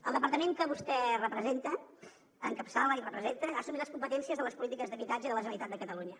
el departament que vostè representa encapçala i representa ha assumit les competències de les polítiques d’habitatge de la generalitat de catalunya